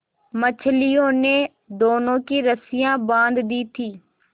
मछलियों ने दोनों की रस्सियाँ बाँध दी थीं